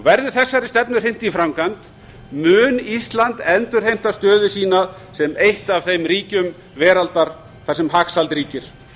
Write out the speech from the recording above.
verði þessari stefnu hrint í framkvæmd mun ísland endurheimta stöðu sína sem eitt af þeim ríkjum veraldar þar sem hagsæld ríkir